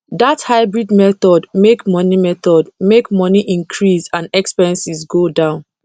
that hybrid method make money method make money increase and expenses go down